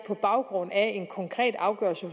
på baggrund af en konkret afgørelse